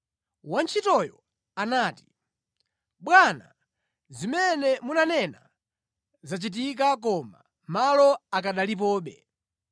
“Wantchitoyo anati, ‘Bwana, zimene munanena zachitika koma malo akanalipobe.’